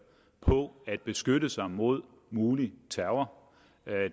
på at beskytte sig mod mulig terror